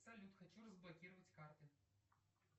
салют хочу разблокировать карты